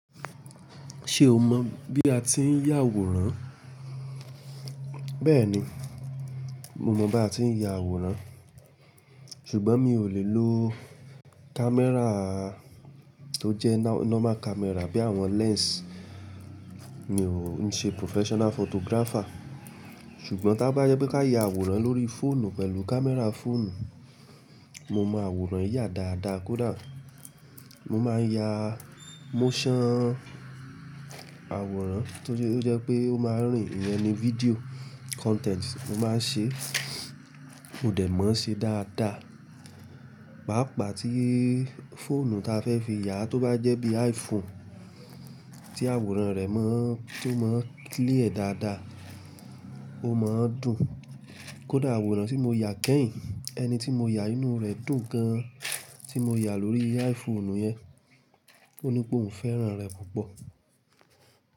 Ṣé o mọ̀ bí a ti ń ya àwòrán? Bẹ́ẹ̀ni, mo mọ̀ bí a ti ń ya àwòrán. Ṣùgbọ́n mi ò lè lo camera tó jẹ́ normal camera bí àwọn lens. Mi ò ń ṣe professional photographer. Ṣùgbọ́n taba je pe ka ya àwòrán lórí fóònù pẹ̀lú camera fóònù, mo máa àwòrán yaa dáadáa kódà. Mo máa n ya motion àwòrán tóri o jẹ́ pé ó máa rín. Iyen ni video content mo maa n se. Mo de mò se dáadáa páápáá tí fóònù ta fẹ́ fi yà tó bá jẹ́ bí iPhone tí àwòrán rẹ̀ maa n tó máa ń clear dáadáa, ó máa ń dùn. Kódà àwòrán tí mo ya kẹ́yìn, ẹni tí mo ya inú rẹ̀ dùn gan tí mo ya lórí iPhone yẹn. Ó ni pé òun fẹ́ràn rẹ̀ púpọ̀.